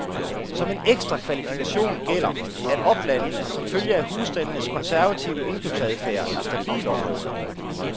Som en ekstra kvalifikation gælder, at oplandene som følge af husstandenes konservative indkøbsadfærd er stabile områder.